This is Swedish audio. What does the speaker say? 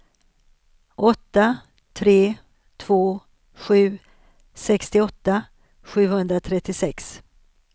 åtta tre två sju sextioåtta sjuhundratrettiosex